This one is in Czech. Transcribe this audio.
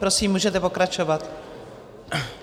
Prosím, můžete pokračovat.